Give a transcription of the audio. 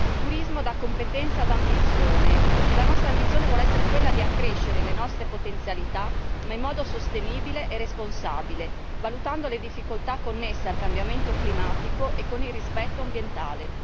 Turismo da competenza ad ambizione e la nostra ambizione vuole essere quella di accrescere le nostre potenzialità, ma in modo sostenibile e responsabile, valutando le difficoltà connesse al cambiamento climatico e con il rispetto ambientale.